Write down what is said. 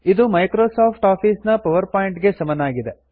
ಇದು Microsoft Office ನ PowerPoint ಗೆ ಸಮನಾಗಿದೆ